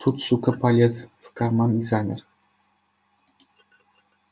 тут сука полез в карман и замер